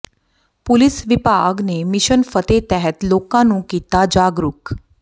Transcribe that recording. police ਵਿਭਾਗ ਨੇ mission Fateh ਤਹਿਤ ਲੋਕਾਂ ਨੂੰ ਕੀਤਾ ਜਾਗਰੂਕ